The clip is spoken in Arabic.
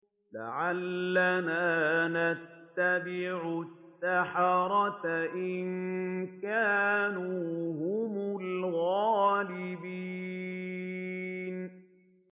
لَعَلَّنَا نَتَّبِعُ السَّحَرَةَ إِن كَانُوا هُمُ الْغَالِبِينَ